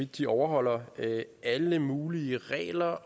de overholder alle mulige regler